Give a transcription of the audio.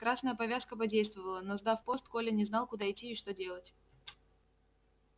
красная повязка подействовала но сдав пост коля не знал куда идти и что делать